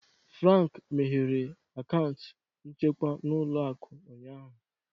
Frank meghere akaụntụ nchekwa n'ụlọ akụ ụnyaahụ.